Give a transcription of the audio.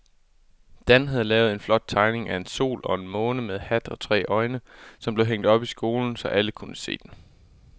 Dan havde lavet en flot tegning af en sol og en måne med hat og tre øjne, som blev hængt op i skolen, så alle kunne se den.